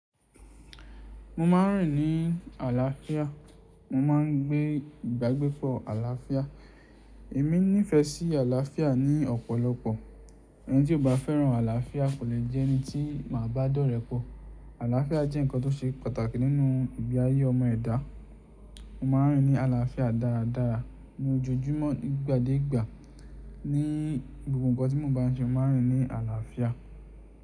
Mo ma n rìn ní àlàáfíà, mo ma n gbé ìbagbépọ̀ àlàáfíà. Èmi nífẹ̀ẹ́ sí àlàáfíà ní ọ̀pọ̀lọpọ̀. Ẹni tí ò bá fẹ́ràn àlàáfíà kò lè jẹ́ ẹni tí màá bá dọ́rẹ̀ẹ́ pọ̀. Àlàáfíà jẹ́ ǹkan tó ṣe pàtàkì nínú ìgbe ayé ọmọ ẹ̀dá. Mo ma n rìn ní àlàáfíà dáradára ní ojoojúmọ́, nígbà dé ìgbà, ní gbogbo ǹkan tí mo bá n ṣe mo ma n rìn ní àlàáfíà.